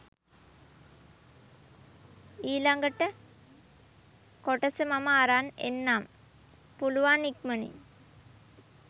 ඊළගට කොටස මම අරන් එන්නම් පුළුවන් ඉක්මනින්